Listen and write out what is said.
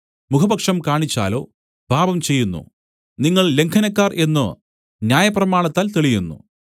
മുഖപക്ഷം കാണിച്ചാലോ പാപം ചെയ്യുന്നു നിങ്ങൾ ലംഘനക്കാർ എന്നു ന്യായപ്രമാണത്താൽ തെളിയുന്നു